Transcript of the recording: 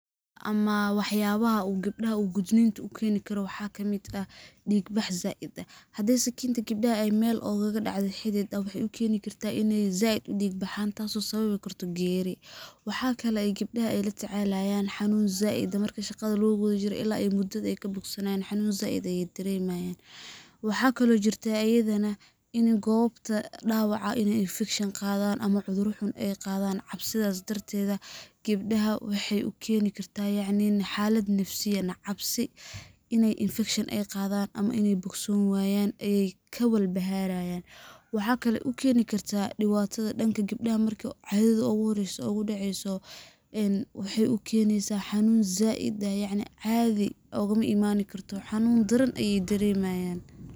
Ama waxyabaha uu gabdhaha uu gudniinka u keeni karo waxa kamid ah ,dhiig bax zaaid ah, haddi sakinta gabdhaha ogaga dhacdo meel xidid waxey u keeni kartaa iney zaid u dhiig baxaan taas oo keeni karto geeri . Wxa kale ay gabdhaha la tacallayaan xanuun zaaid ah marka shaqada lagu gudo jiro ilaa ay ka bogsanayaan xanuun zaid ah ayey daremayaan. Waxa kale oo jirto ayadanain goobta dhawaca ini infikshin ay qadaan ama cudurra xun ay qadaan ,cabsidaas darteeda gabdhaha waxey u keeni kartaa yacni in xaalad nafsiyyan iney infikshan ay qadaan ama inay bogsoon wayaan ay ka wal baharayaan. Waxa kale u keeni kartaa dhibatada dhanka gabdhaha marka cadada ugu horreyso ugu dhaceyso ,een waxey u keneysaa xanuun zaaid ah ,yacni caadi maoga imaani karto yacni xanuun zaaid ah ayey daremayaan.